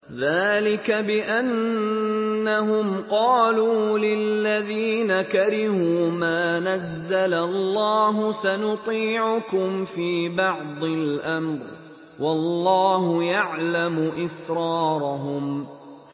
ذَٰلِكَ بِأَنَّهُمْ قَالُوا لِلَّذِينَ كَرِهُوا مَا نَزَّلَ اللَّهُ سَنُطِيعُكُمْ فِي بَعْضِ الْأَمْرِ ۖ وَاللَّهُ يَعْلَمُ إِسْرَارَهُمْ